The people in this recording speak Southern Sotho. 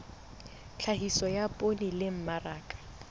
tlhahiso ya poone le mmaraka